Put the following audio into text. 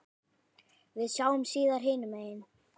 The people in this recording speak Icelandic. Við sjáumst síðar hinum megin.